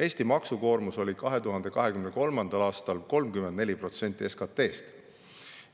Eesti maksukoormus oli 2023. aastal 34% SKP‑st.